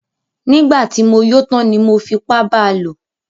Nígbà tí mo yó tán ni mo fipá ba lò.